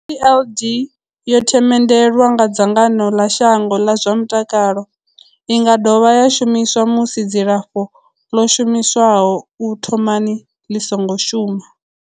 TLD yo themendelwa nga dzangano ḽa shango ḽa zwa mutakalo. I nga dovha ya shumiswa musi dzilafho ḽo shumiswaho u thomani ḽi songo shuma.